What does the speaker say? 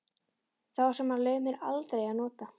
Þá sem hann leyfði mér aldrei að nota.